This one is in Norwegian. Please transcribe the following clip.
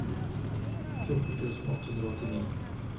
fjorten tusen åtte hundre og åttini